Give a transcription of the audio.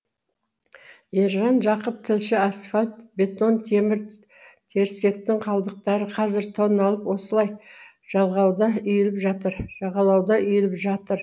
ержан жақып тілші асфальт бетон темір терсектің қалдықтары қазір тонналап осылай жағалауда үйіліп жатыр